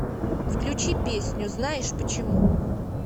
включи песню знаешь почему